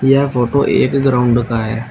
यह फोटो एक ग्राउंड का है।